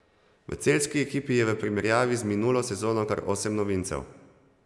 V celjski ekipi je v primerjavi z minulo sezono kar osem novincev.